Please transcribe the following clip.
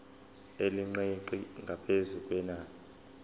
elingeqi ngaphezu kwenani